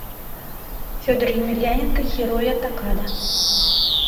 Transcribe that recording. федор емельяненко хироя такада